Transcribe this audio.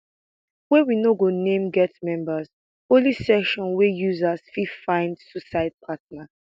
wey we no go name get members only section wia users fit find suicide partner